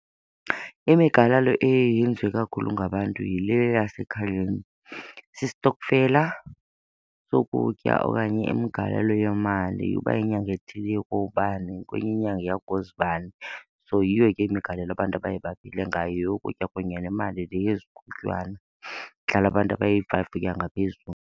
Imigalelo eye yenziwe kakhulu ngabantu yile yasekhayeni. Sistokfela sokutya okanye imigalelo yemali, uba inyanga ethile iye kubani kwenye inyanga iya kuzibani. So yiyo ke imigalelo abantu abaye baphile ngayo, yeyokutya kunye nemali le yezikhuntywana, idlala abantu abayi-five ukuya ngaphezulu.